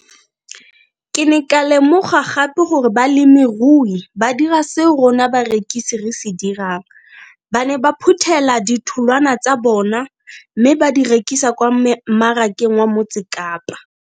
Ke ne ka lemoga gape gore balemirui ba dira seo rona barekisi re se dirang, ba ne ba phuthela ditholwana tsa bona mme ba di rekisa kwa marakeng wa Motsekapa.